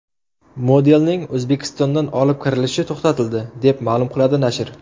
Modelning O‘zbekistondan olib kirilishi to‘xtatildi, deb ma’lum qiladi nashr.